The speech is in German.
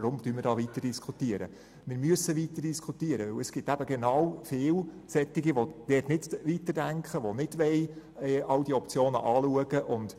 Es ist eben wichtig etwas zu machen, denn es gibt auch viele Leute, die nicht weiterdenken, die alte Optionen nicht prüfen wollen.